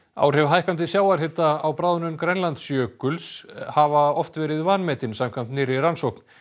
áhrif hækkandi sjávarhita á bráðnun Grænlandsjökuls hafa oft verið vanmetin samkvæmt nýrri rannsókn